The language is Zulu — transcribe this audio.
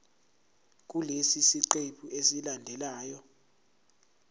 kulesi siqephu esilandelayo